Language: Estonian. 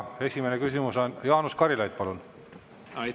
Esimene küsimus, Jaanus Karilaid, palun!